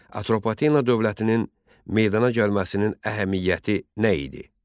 Atropatena dövlətinin meydana gəlməsinin əhəmiyyəti nə idi?